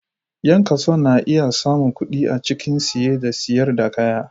Yan kasuwa na iya samun kuɗi A cikin siye da siyar da kaya.